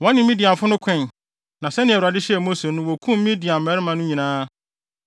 Wɔne Midiafo no koe, na sɛnea Awurade hyɛɛ Mose no wokum Midian mmarima no nyinaa.